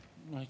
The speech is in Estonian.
Palun!